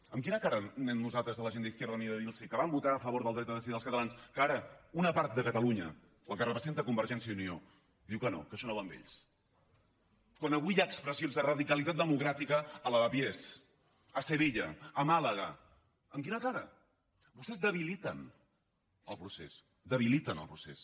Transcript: amb quina cara anem nosaltres a la gent d’izquierda unida a dir los que van votar a favor del dret a decidir dels catalans que ara una part de catalunya la que representa convergència i unió diu que no que això no va amb ells quan avui hi ha expressions de radicalitat democràtica a lavapiés a sevilla a màlaga amb quina cara vostès debiliten el procés debiliten el procés